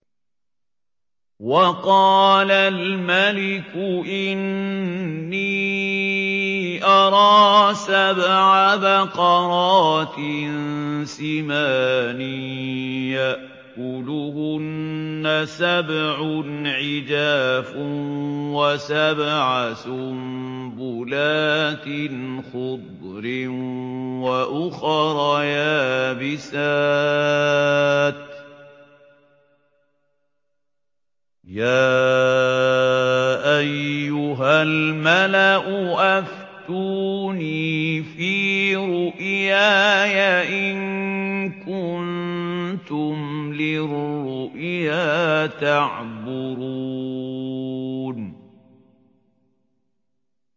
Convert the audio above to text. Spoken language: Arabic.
وَقَالَ الْمَلِكُ إِنِّي أَرَىٰ سَبْعَ بَقَرَاتٍ سِمَانٍ يَأْكُلُهُنَّ سَبْعٌ عِجَافٌ وَسَبْعَ سُنبُلَاتٍ خُضْرٍ وَأُخَرَ يَابِسَاتٍ ۖ يَا أَيُّهَا الْمَلَأُ أَفْتُونِي فِي رُؤْيَايَ إِن كُنتُمْ لِلرُّؤْيَا تَعْبُرُونَ